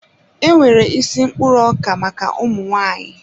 E nwere isi mkpụrụ ọka maka ụmụnwaanyị.